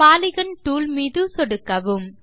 polygon tool மீது சொடுக்கவும்